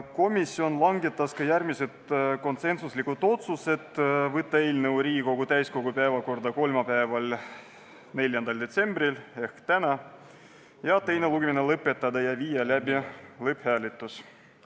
Komisjon langetas ka järgmised konsensuslikud otsused: võtta eelnõu Riigikogu täiskogu päevakorda kolmapäevaks, 4. detsembriks ehk tänaseks, teine lugemine lõpetada ja viia läbi lõpphääletus.